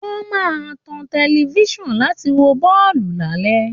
Wọ́n máa tan tẹlifisan láti wo bọ́ọ̀lù lálẹ